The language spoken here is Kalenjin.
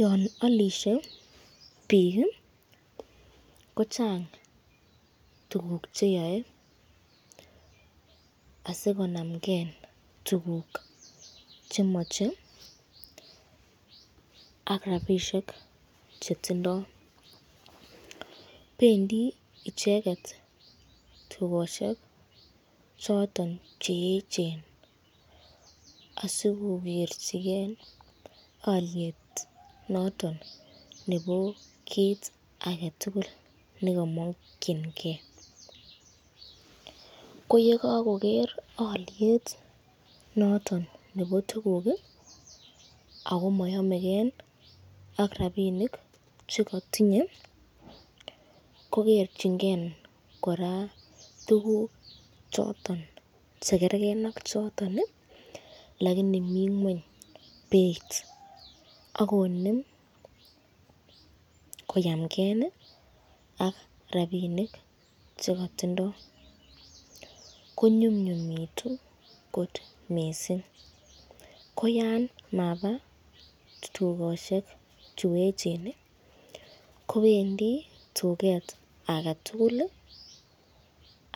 Yon olishe biik kochang tuguk che yoe asikonamke tuguk che moche ak rabisiek chetindo. Bendi icheget tugosiek choton che eechen asikokerjige olyet noton nebo kiit age tugul ne komokinge. Ko ye kagoker olyet noton nebo tuguk ago moyomeke ak rabinik che kotinye, ko kerchinge kora tuguk choton che kergen ak choto lakini mi ng'weny beit, ak konem koyamgen ak rabinik che kotindo. Ko nyumnyumitu kot mising. Ko yan mabaaa tugosiek chu yechen, kobendi tuget age tugul